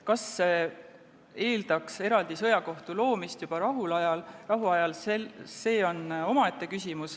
Kas see eeldaks eraldi sõjakohtu loomist juba rahuajal, on omaette küsimus.